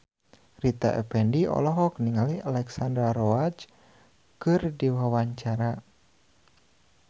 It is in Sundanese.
Rita Effendy olohok ningali Alexandra Roach keur diwawancara